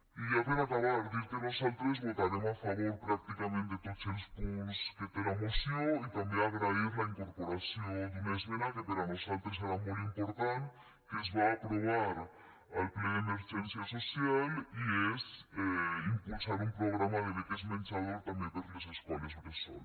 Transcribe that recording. i ja per acabar dir que nosaltres votarem a favor pràcticament de tots els punts que té la moció i també agrair la incorporació d’una esmena que per a nosaltres era molt important que es va aprovar al ple d’emergència social i és impulsar un programa de beques menjador també per a les escoles bressol